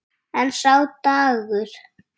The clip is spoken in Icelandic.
En sá dagur!